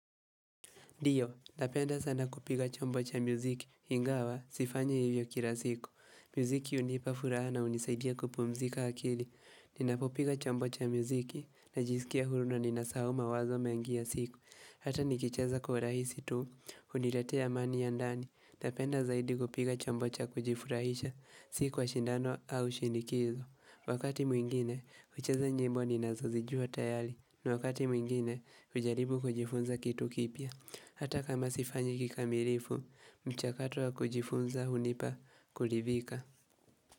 Ndio, napenda sana kupiga chombo cha muziki, ingawa sifanyi hivyo kila siku. Muziki hunipa furaha na hunisaidia kupumzika akili. Ninapopiga chombo cha muziki, najisikia huru na ninasahau mawazo mengi ya siku. Hata nikicheza kwa urahisi tu, huniletea amani ya ndani. Napenda zaidi kupiga chombo cha kujifurahisha, siku ya shindano au shinikizo. Wakati mwingine, hucheza nyimbo ninazozijua tayari. Na wakati mwingine, hujaribu kujifunza kitu kipya. Hata kama sifanyi kikamilifu, mchakato wa kujifunza hunipa kuridhika.